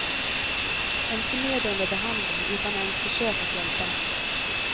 En förnedrande behandling utan ens försök att hjälpa.